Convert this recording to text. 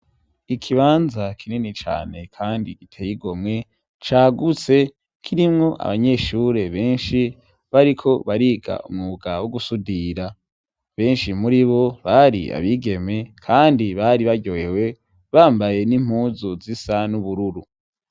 Ikibanza kinini cane kandi giteye igomwe cagutse kirimwo abanyeshure benshi bariko bariga umwuga wo gusudira, benshi muri bo bari abigeme kandi bari baryohewe bambaye n'impuzu zisa n'ubururu.